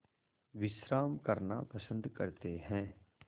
विश्राम करना पसंद करते हैं